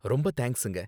ரொம்ப தேங்க்ஸுங்க